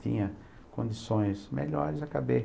Tinha condições melhores, acabei.